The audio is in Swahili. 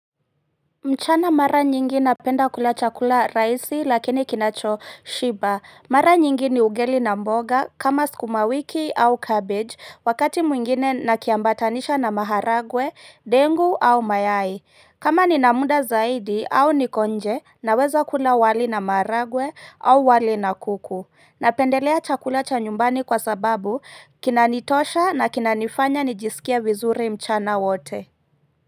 Mchana mara nyingi napenda kula chakula raisi lakini kinacho shiba, mara nyingi ni ugali na mboga kama sukumawiki au cabbage wakati mwingine nakiambatanisha na maharagwe, dengu au mayai, kama ninamuda zaidi au niko nje naweza kula wali na maharagwe au wali na kuku, napendelea chakula cha nyumbani kwa sababu kinanitosha na kinanifanya nijisikie vizuri mchana wote.